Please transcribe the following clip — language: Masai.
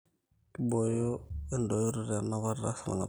Kiboyoo edoyoro enapata esarngab